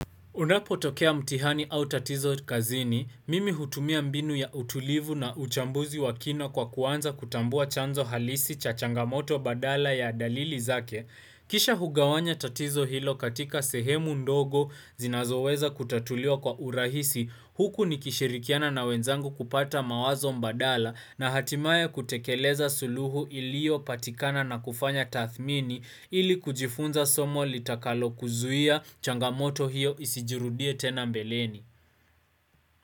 Unapotokea mtihani au tatizo kazini, mimi hutumia mbinu ya utulivu na uchambuzi wa kina kwa kuanza kutambua chanzo halisi cha changamoto badala ya dalili zake. Kisha hugawanya tatizo hilo katika sehemu ndogo zinazoweza kutatuliwa kwa urahisi, huku nikishirikiana na wenzangu kupata mawazo mbadala na hatimaye kutekeleza suluhu iliopatikana na kufanya tathmini ili kujifunza somo litakalokuzuia changamoto hiyo isijirudie tena mbeleni.